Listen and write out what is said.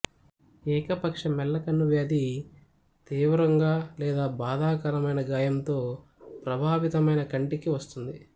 ఏకపక్ష మెల్లకన్ను వ్యాధి తీవ్రంగా లేదా బాధాకరమైన గాయంతో ప్రభావితమైన కంటికి వస్తుంది